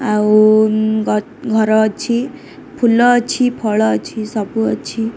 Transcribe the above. ଆଉ ଗ ଘର ଅଛି। ଫୁଲ ଅଛି ଫଳ ଅଛି ସବୁ ଅଛି।